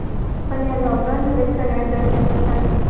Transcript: पण या lockdown मध्ये सगळ्यत जास्त नुस्कान